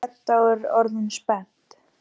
spyr Edda og er orðin spennt.